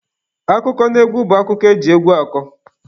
Akụkọnaegwu bụ akụkọ eji egwu akọ